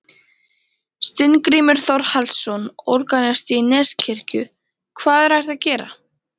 Steingrímur Þórhallsson, organisti í Neskirkju: Hvað er hægt að gera?